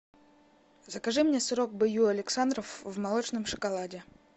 закажи мне сырок б ю александров в молочном шоколаде